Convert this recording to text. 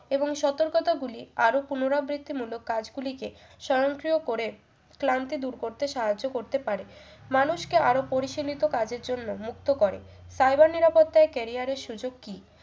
এবং সতর্কতাগুলি আরো পুনরাবৃত্তিমূলক কাজগুলিকে স্বয়ংক্রিয় করে ক্লান্তি দূর করতে সাহায্য করতে পারে মানুষকে আরো পরিচালিত কাজের জন্য মুক্ত করে cyber নিরাপত্তায় career এর সুযোগ কি